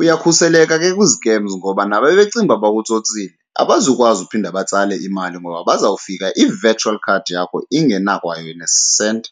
Uyakhuseleka ke kwi-scams ngoba naba becinga bakutsotsile abazukwazi uphinda batsale imali ngoba bazawufika i-virtual card yakho ingenakwayo nesenti.